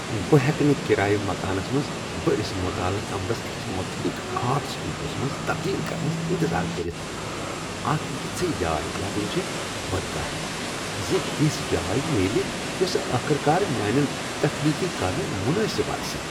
بہٕ ہیٚكہِ نہٕ کرایہ مکانس منٛز بٔڑس مطالعہٕ كمرس اکِس متحرک آرٹ سٹوڈیو ہس منٛز تبدیل کرنس انتظار کٔرتھ ۔ اکھ یژھ جاے لبٕنۍ چھےٚ بٔڈ کتھ ز، تِژھ جاے میلہ یوسہٕ آخرکار میانین تخلیقی کامین مناسب آسہِ۔